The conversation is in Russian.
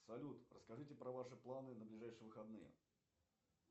салют расскажите про ваши планы на ближайшие выходные